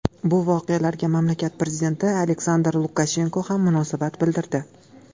Bu voqealarga mamlakat prezidenti Aleksandr Lukashenko ham munosabat bildirdi .